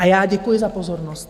A já děkuji za pozornost.